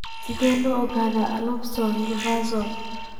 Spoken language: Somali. Sidee lagu ogaadaa alopecia universalis?